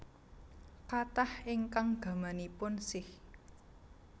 Kathah ingkang gamanipun Sikh